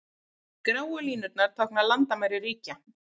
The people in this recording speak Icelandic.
Gráu línurnar tákna landamæri ríkja.